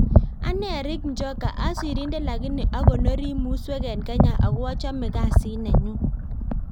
Anee Erick njoka asirindet lakini akonori musuek en Kenya ako achame kazit Nenyun